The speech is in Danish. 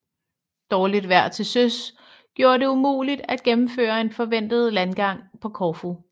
Dårligt vejr til søs gjorde det umuligt at gennemføre en forventet landgang på Korfu